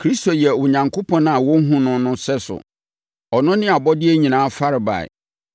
Kristo yɛ Onyankopɔn a wɔnhunu no no sɛso. Ɔno ne abɔdeɛ nyinaa farebae.